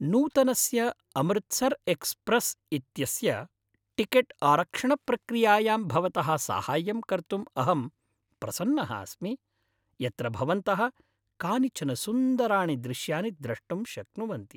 नूतनस्य अमृतसर् एक्स्प्रेस् इत्यस्य टिकेट्आरक्षणप्रक्रियायां भवतः साहाय्यं कर्तुम् अहं प्रसन्नः अस्मि, यत्र भवन्तः कानिचन सुन्दराणि दृश्यानि द्रष्टुं शक्नुवन्ति।